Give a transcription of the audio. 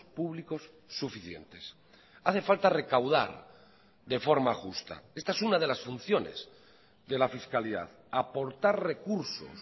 públicos suficientes hace falta recaudar de forma justa esta es una de las funciones de la fiscalidad aportar recursos